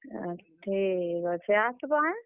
ଏଁ, ଠିକ୍ ଅଛେ ଆସ୍ ବ ଆଏଁ।